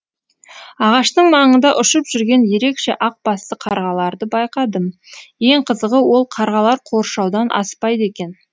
ағаштың маңында ұшып жүрген ерекше ақ басты қарғаларды байқадым ең қызығы ол қарғалар қоршаудан аспайды екен